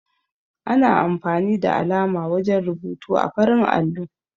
Ana amfani da alama wajen rubutu ã farin allo.